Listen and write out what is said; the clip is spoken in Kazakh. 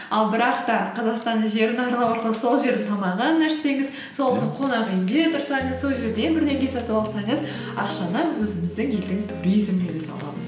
ал бірақ та қазақстанның жерін аралау арқылы сол жердің тамағын ішсеңіз сол қонақ үйінде тұрсаңыз сол жерден бірдеңе сатып алсаңыз ақшаны өзіміздің елдің туризміне саламыз